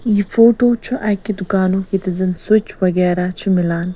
یہِ فوٹو چُھ اَکہِ دُکانُک ییٚتٮ۪تھ زن سِوچ .وغیرہ چھ میلان